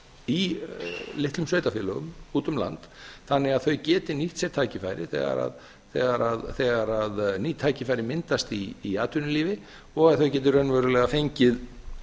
í litlum sveitarfélögum úti um land þannig að þau geti nýtt sér tækifærið þegar ný tækifæri myndast í atvinnulífi og að þau geti raunverulega fengið